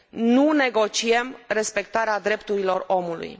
Nu negociem respectarea drepturilor omului.